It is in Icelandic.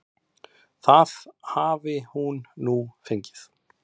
Það hafi hún nú fengið.